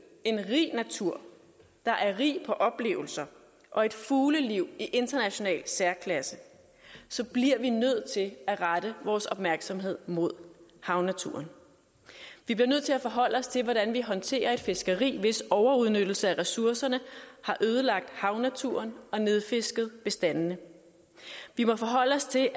en rig natur der er rig på oplevelser og et fugleliv i international særklasse bliver vi nødt til at rette vores opmærksomhed mod havnaturen vi bliver nødt til at forholde os til hvordan vi håndterer et fiskeri hvis overudnyttelse af ressourcerne har ødelagt havnaturen og nedfisket bestandene vi må forholde os til